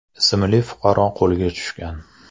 ismli fuqaro qo‘lga tushgan.